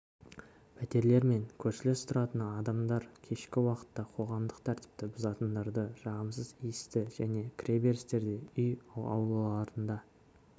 пәтерлермен көршілес тұратын адамдар кешкі уақытта қоғамдық тәртіпті бұзатындарды жағымсыз иісті және кіреберістерде үй аулаларында